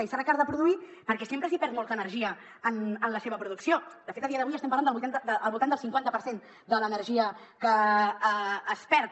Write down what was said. i serà car de produir perquè sempre es perd molta energia en la seva producció de fet a dia d’avui estem parlant del voltant del cinquanta per cent de l’energia que es perd